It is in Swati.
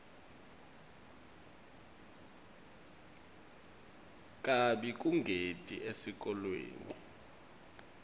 kabi kungeti esikolweni